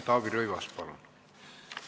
Taavi Rõivas, palun!